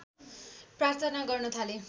प्रार्थना गर्न थाले